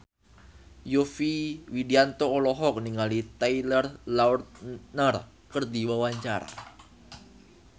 Yovie Widianto olohok ningali Taylor Lautner keur diwawancara